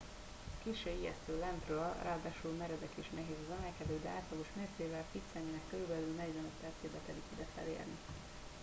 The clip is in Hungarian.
kissé ijesztő lentről ráadásul meredek és nehéz az emelkedő de átlagos mércével fitt személynek körülbelül 45 percébe telik ide felérni